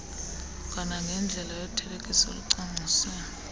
kwanangendlela yothelekiso olucwangciswe